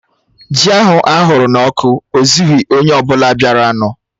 Ji ahụ aghụrụ n'ọkụ ezughi onye ọ bụla bịaranụ